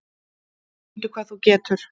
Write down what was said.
Sýndu hvað þú getur!